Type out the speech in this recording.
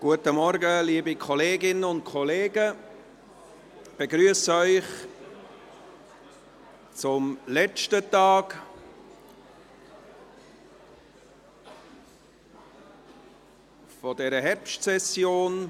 Guten Morgen, liebe Kolleginnen und Kollegen, ich begrüsse Sie zum letzten Tag dieser Herbstsession.